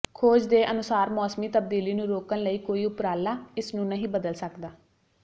ਖੋਜ ਦੇ ਅਨੁਸਾਰ ਮੌਸਮੀ ਤਬਦੀਲੀ ਨੂੰ ਰੋਕਣ ਲਈ ਕੋਈ ਉਪਰਾਲਾ ਇਸ ਨੂੰ ਨਹੀਂ ਬਦਲ ਸਕਦਾ